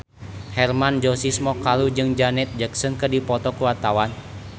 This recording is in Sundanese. Hermann Josis Mokalu jeung Janet Jackson keur dipoto ku wartawan